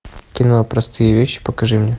кино простые вещи покажи мне